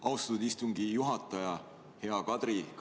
Austatud istungi juhataja!